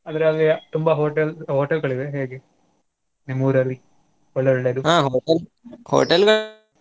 ಆದ್ರೆ ತುಂಬಾ hotel hotel ಗಳಿವೆ ಗಳಿವೆಯಾ ಹೇಗೆ ನಿಮ್ಮೂರಲ್ಲಿ ಒಳ್ಳೇ ಒಳ್ಳೇದು .